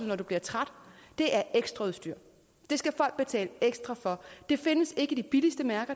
man bliver træt er ekstraudstyr det skal folk betale ekstra for det findes ikke i de billigste mærker